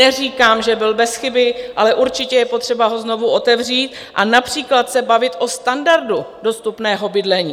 Neříkám, že byl bez chyby, ale určitě je potřeba ho znovu otevřít a například se bavit o standardu dostupného bydlení.